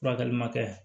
Furakɛli ma kɛ